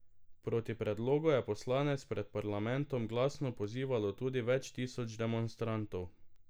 Proti predlogu je poslance pred parlamentom glasno pozivalo tudi več tisoč demonstrantov.